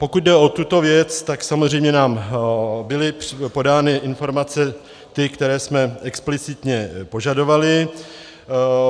Pokud jde o tuto věc, tak samozřejmě nám byly podány informace ty, které jsme explicitně požadovali.